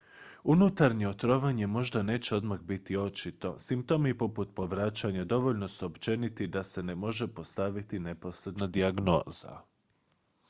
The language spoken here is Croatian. unutarnje otrovanje možda neće odmah biti očito simptomi poput povraćanja dovoljno su općeniti da se ne može postaviti neposredna dijagnoza